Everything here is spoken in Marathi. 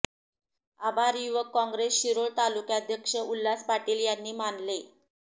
आभार युवक काँग्रेस शिरोळ तालुकाध्यक्ष उल्हास पाटील यांनी मानले